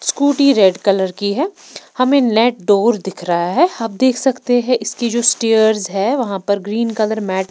scooty red colour की है हमें नेट डोर दिख रहा है आप देख सकते हैं इसकी जो स्टेयर्स हैं वहां पर ग्रीन कलर मैट --